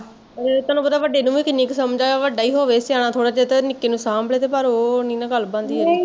ਤੁਹਾਨੂੰ ਪਤਾ ਆ ਵੱਡੇ ਨੂੰ ਵੀ ਕਿੰਨੀ ਕੁ ਸਮਜ ਐ ਵੱਡਾ ਈ ਹੋਵੇ ਸਿਆਣਾ ਥੋੜਾ ਜਿਹਾ ਤੇ ਨਿਕੇ ਨੂੰ ਸਾਂਬ ਲੇ ਪਰ ਓਹ ਨੀ ਨਾ ਗੱਲ ਬਣਦੀ